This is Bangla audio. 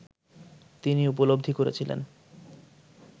তিনি উপলব্ধি করেছিলেন